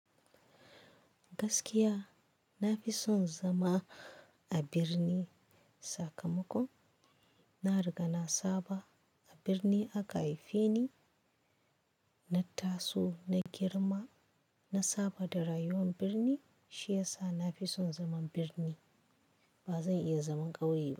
Gaskiya, na fi son zama a birni, Sakamako, na riga na saba. A birni aka haife ni, na taso, na girma, na saba da rayuwar birni, shi yasa na fi son zaman birni. Ba zan iya zaman ƙauye ba.